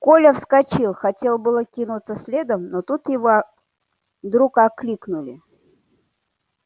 коля вскочил хотел было кинуться следом но тут его вдруг окликнули